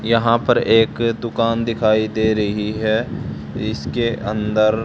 यहां पर एक दुकान दिखाई दे रही है इसके अंदर--